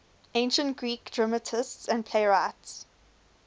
ancient greek dramatists and playwrights